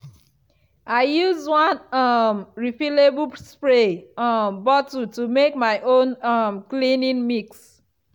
i use one um refillable spray um bottle to make my own um cleaning mix.